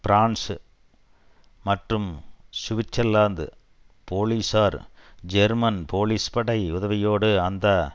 France மற்றும் Switzerland போலீஸார் German police படை உதவியோடு அந்த